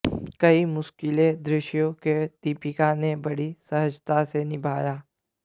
कई मुश्किल दृश्यों को दीपिका ने बड़ी सहजता से निभाया